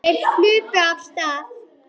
Þeir hlupu af stað.